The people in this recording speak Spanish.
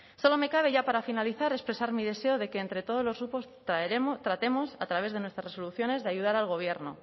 solo me cabe ya para finalizar expresar mi deseo de que entre todos los grupos tratemos a través de nuestras resoluciones de ayudar al gobierno